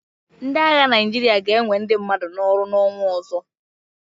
Ndị agha Naịjirịa ga-enwe ndị mmadụ n'ọrụ n'ọnwa ọzọ.